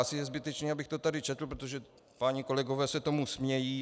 Asi je zbytečné, abych to tady četl, protože páni kolegové se tomu smějí.